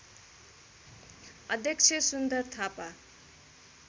अध्यक्ष सुन्दर थापा